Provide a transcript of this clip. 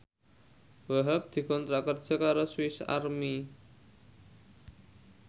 Wahhab dikontrak kerja karo Swis Army